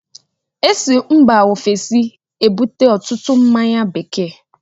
E si mba Ofesi ebute ọtụtụ mmáñyá bekee